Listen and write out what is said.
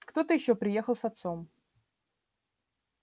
кто-то ещё приехал с отцом